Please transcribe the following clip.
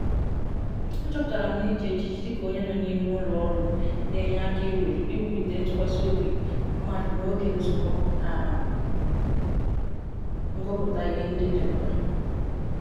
Achoputala m na Iji ejiji dika onye no n'ime ulo oru na-enye aka iwulite ntukwasi obi mmadu n'oge nzuko na ngupta ihe ndi di mkpa.